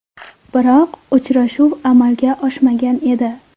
Biroq uchrashuv amalga oshmagan edi .